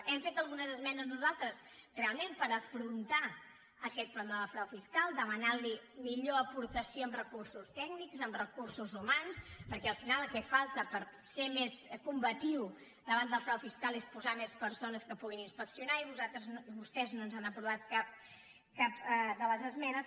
hem fet algunes esmenes nosaltres realment per afrontar aquest problema del frau fiscal demanant li millor aportació en recursos tècnics en recursos humans perquè al final el que falta per ser més combatiu davant del frau fiscal és posar més persones que puguin inspeccionar i vostès no ens han aprovat cap de les esmenes